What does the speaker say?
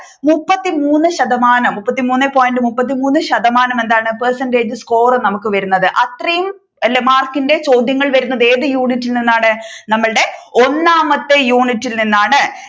മുപ്പത്തി മൂന്ന് ശതമാനം മുപ്പത്തി മുന്നേ പോയിന്റ് മുപ്പത്തി മൂന്ന് ശതമാനം എന്താണ് percentage score നമ്മുക്ക് വരുന്നത് അത്രയും മാർക്കിന്റെ ചോദ്യങ്ങൾ വരുന്നത് ഏതു യൂണിറ്റിൽ നിന്നാണ് നമ്മുടെ ഒന്നാമത്തെ യൂണിറ്റിൽ നിന്നാണ്